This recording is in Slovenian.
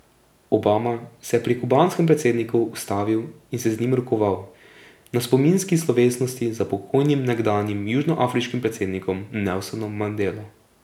Obama se je pri kubanskem predsedniku ustavil in se z njim rokoval na spominski slovesnosti za pokojnim nekdanjim južnoafriškim predsednikom Nelsonom Mandelo.